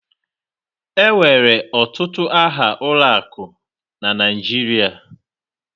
Enwere ọtụtụ aha ụlọ akụ na Naịjirịa